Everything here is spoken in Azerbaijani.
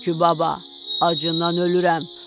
Tülkü baba, acından ölürəm.